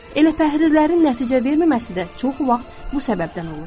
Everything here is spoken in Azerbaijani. Elə pəhrizlərin nəticə verməməsi də çox vaxt bu səbəbdən olur.